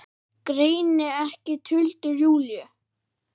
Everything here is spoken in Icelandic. Greini ekki tuldur Júlíu.